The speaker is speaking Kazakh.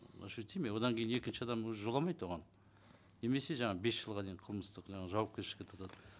ощутимо одан кейін екінші адам уже жоламайды оған немесе жаңа бес жылға дейін қылмыстық жаңа жауапкершілікке тартады